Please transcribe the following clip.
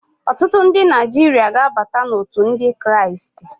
Ọtụtụ ndị Naijiria ga-abata n'òtù ndị Kraịst.